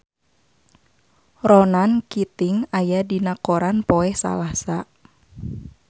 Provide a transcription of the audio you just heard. Ronan Keating aya dina koran poe Salasa